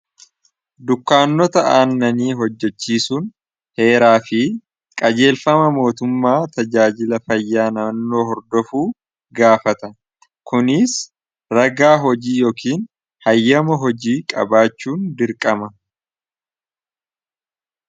dukkaannota aannanii hojjachiisuun heeraa fi qajeelfama mootummaa tajaajila fayyaa nannoo hordofuu gaafata kuniis ragaa hojii yookiin hayyama hojii qabaachuun dirqama